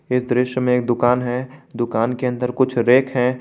इस दृश्य में दुकान है दुकान के अंदर कुछ रैक है।